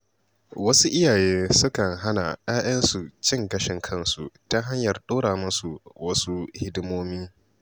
Wasu iyaye sukan hana ‘ya‘yansu cin gashin kansu ta hanyar ɗora musu wasu hidimomi.